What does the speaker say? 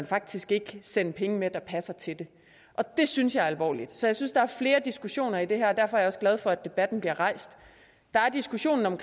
faktisk ikke vil sende penge med der passer til det det synes jeg er alvorligt så jeg synes der er flere diskussioner i det her og derfor er jeg også glad for at debatten bliver rejst der er diskussion om